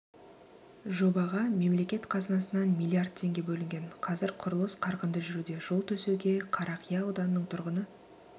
жобаға мемлекет қазынасынан миллиард теңге бөлінген қазір құрылыс қарқынды жүруде жол төсеуге қарақия ауданының тұрғыны